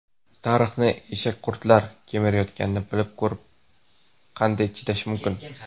Tarixni eshakqurtlar kemirayotganini bilib ko‘rib qanday chidash mumkin?.